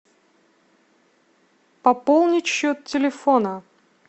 пополнить счет телефона